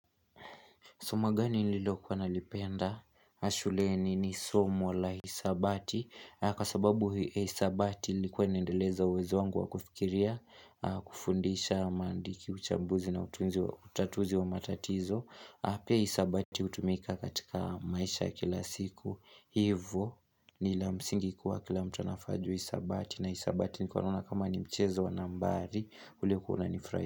Somo gani nililokuwa nalipenda? Shuleni ni somo la hisabati. Kwa sababu hisabati lilikuwa inaendeleza uwezo wangu wa kufikiria, kufundisha maandiki uchambuzi na utatuzi wa matatizo. Pia hisabati hutumika katika maisha ya kila siku. Hivo ni la msingi kuwa kila mtu anafaa ajue hisabati. Na hisabati nikuwa naona kama ni mchezo wa nambari ulio kuwa unanifrahisha.